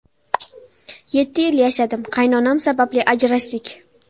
Yetti yil yashadim, qaynonam sababli ajrashdik.